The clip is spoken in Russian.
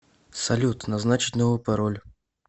салют назначить новый пароль